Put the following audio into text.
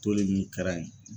Toli min kɛra ye.